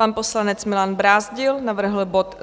Pan poslanec Milan Brázdil navrhl bod